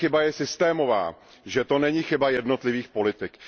si, že ta chyba je systémová, že to není chyba jednotlivých politik.